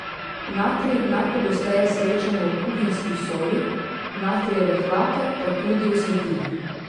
Natrij najpogosteje srečamo v kuhinjski soli, natrijeve hlape pa tudi v svetilih.